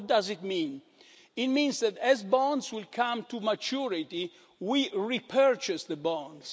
What does it mean? It means that, as bonds come to maturity, we repurchase the bonds.